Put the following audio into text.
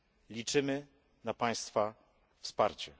Liczymy na Państwa wsparcie.